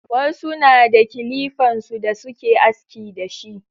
Wasu na da kilifan su da suke aski da shi.